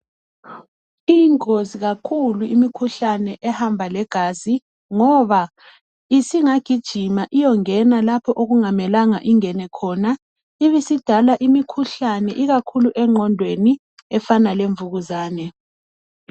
Iyingozi kakhulu imikhuhlane ehamba legazi ngoba isingagijima iyongena lapho okungamelanga ingene khona ibisidala imikhuhlane ikakhulu engqondweni efana lemvukuzane